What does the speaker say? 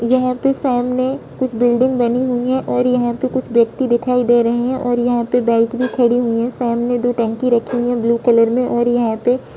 यहाँ पे सामने कुछ बिल्डिंग बनी हुई हैं और यह पे कुछ व्यक्ति दिखाई दे रहे हैं और यह पे कुछ बाइक भी खड़ी हुई हैं सामने दो टंकी रखी हुई है ब्लू कलर मेंऔर यह पे--